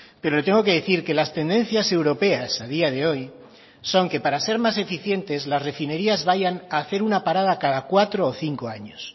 pero le tengo que decir que las tendencias europeas a día de hoy son que para ser más eficientes las refinerías vayan a hacer una parada cada cuatro o cinco años